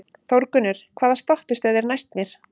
Þórgunnur, hvaða stoppistöð er næst mér?